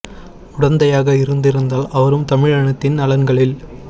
உட்ந்தையாக இருந்திருந்தால் அவரும் தமிழினத்தின் நலன்களில்